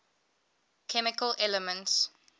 chemical elements